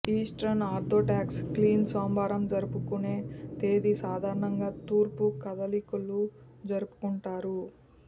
eastern Orthodox Clean సోమవారం జరుపుకునే తేదీ సాధారణంగా తూర్పు కాథలిక్కులు జరుపుకుంటారు